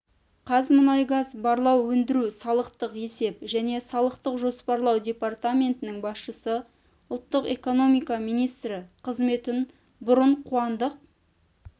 қазмұнайгаз барлау өндіру салықтық есеп және салықтық жоспарлау департаментінің басшысы ұлттық экономика министрі қызметін бұрын қуандық